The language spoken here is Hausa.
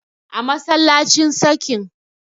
a masallacin sakin